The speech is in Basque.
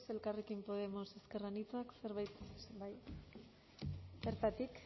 elkarrekin podemos ezker anitza zerbait bertatik